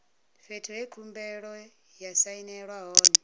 fhethu he khumbelo ya sainelwa hone